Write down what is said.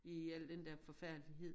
I al den der forfærdelighed